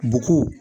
Bɔgɔ